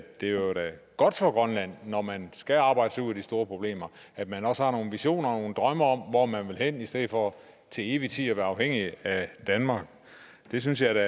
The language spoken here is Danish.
det er godt for grønland når man skal arbejde sig ud af de store problemer at man også har nogle visioner og nogle drømme om hvor man vil hen i stedet for til evig tid at være afhængig af danmark det synes jeg